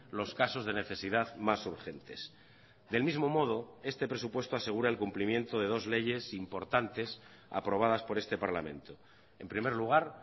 los casos de necesidad más urgentes del mismo modo este presupuesto asegura el cumplimiento de dos leyes importantes aprobadas por este parlamento en primer lugar